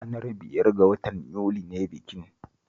Ranar biyar ga watan Yuli ne bikin